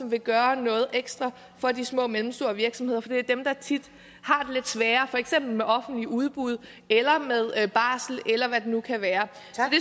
vil gøre noget ekstra for de små og mellemstore virksomheder for det er jo dem der tit har det lidt sværere for eksempel ved offentlige udbud eller ved barsel eller hvad det nu kan være